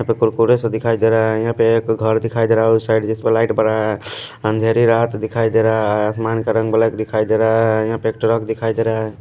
यहाँ पे कुरकुरे से दिखाई दे रहा है यहाँ पे एक घर दिखाई दे रहा है उस साइड जिस पर लाइट बड़ा है अंधेरी रात दिखाई दे रहा है आसमान का रंग ब्लैक दिखाई दे रहा है यहाँ पे एक ट्रक दिखाई दे रहा है।